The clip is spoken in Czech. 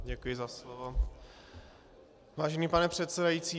Děkuji za slovo, vážený pane předsedající.